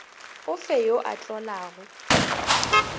o fe yo a tlolago